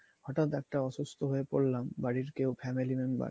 হটাৎ কেউ অসুস্থ হয়ে পড়লাম, বাড়ির কেউ family member